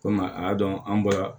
Kɔmi a y'a dɔn an bɔra